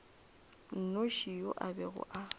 nnoši yo a bego a